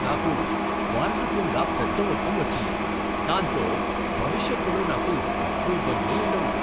నాకు వారసత్వంగా పెద్ద మొత్తం వచ్చింది, దాంతో భవిష్యత్తులో నాకు డబ్బు ఇబ్బందులు ఉండవు.